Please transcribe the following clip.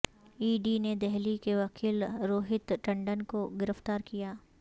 ای D نے دہلی کے وکیل روہت ٹنڈن کو گرفتار کیا